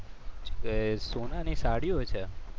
સોનાની થાળીઓ છે?